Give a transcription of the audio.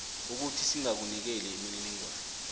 ukuthi singakunikeli imininingwana